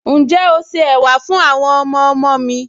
Ǹjẹ́ o se ẹ̀wà fún àwọn ọmọọmọ mi